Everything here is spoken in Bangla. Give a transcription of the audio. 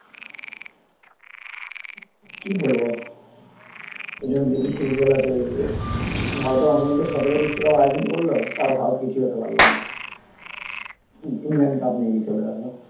কি বলব এর জন্য বিদেশে ফুটবল এত এগিয়ে ভারতে বিশ্বকাপ আয়োজন করল তাও ভারত কিছুই হতে পারল না ইংল্যান্ড cup নিয়ে চলে গেল